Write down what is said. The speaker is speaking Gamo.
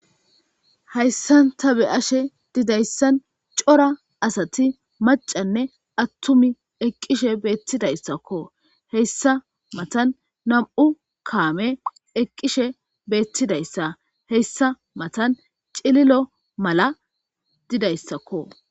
hayssanta be ashe didayssan cora asati macanne attumi eqqishe beettidayssakko heyssa matan nam7u kaame eqqishe beettidayssa heyssa matan cililo mala didayssakko